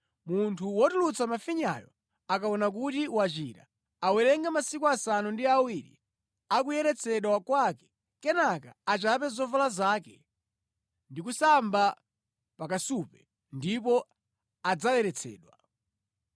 “ ‘Munthu wotulutsa mafinyayo akaona kuti wachira, awerenge masiku asanu ndi awiri akuyeretsedwa kwake kenaka achape zovala zake ndi kusamba pa kasupe, ndipo adzayeretsedwa.